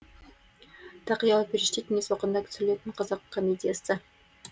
тақиялы періште кеңес уақытында түсірілген қазақ комедиясы